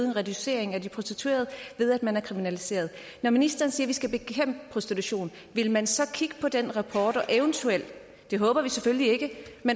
en reducering af de prostituerede ved at man har kriminaliseret når ministeren siger at vi skal bekæmpe prostitution vil man så kigge på den rapport og eventuelt det håber vi selvfølgelig ikke